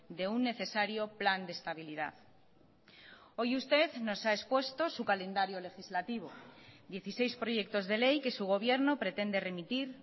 de un necesario plan de estabilidad hoy usted nos ha expuesto su calendario legislativo dieciseis proyectos de ley que su gobierno pretende remitir